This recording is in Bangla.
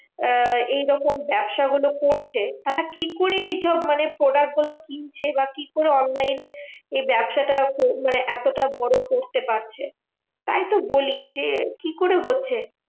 আহ এইরকম ব্যাবসা গুলো করছে, তারা কি করে এইসব মানে product গুলো কিনছে? বা কি করে online এ এ ব্যাবসাটা মানে এতটা বড় করতে পারছে? তাই তো বলি যে কি করে হচ্ছে?